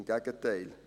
Im Gegenteil.